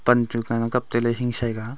pan chu nganang kaptailey hingsai ka a.